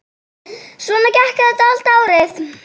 Svona gekk þetta allt árið.